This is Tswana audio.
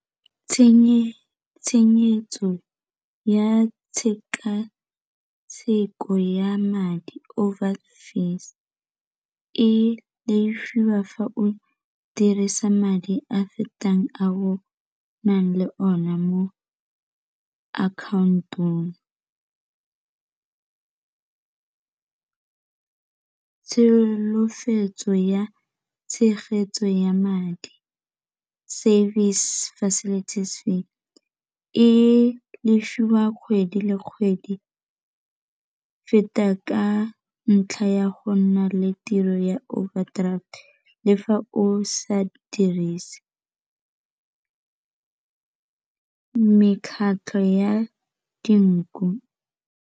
ya tshekatsheko ya madi over fees e lefiwa fa o dirisa madi a fetang a o nang le one mo account-ong, tsholofetso ya tshegetso ya madi service facilities fee e lefiwa kgwedi le kgwedi feta ka ntlha ya go nna le tiro ya overdraft le fa o sa dirise mekgatlho ya dinku.